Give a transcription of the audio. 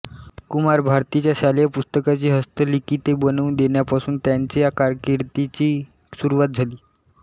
कुमार भारतीच्या शालेय पुस्तकांची हस्तलिखिते बनवून देण्यापासून त्यांच्या कारकीर्दीची सुरुवात झाली